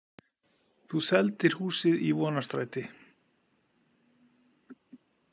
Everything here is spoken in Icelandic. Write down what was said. Þú seldir húsið í Vonarstræti.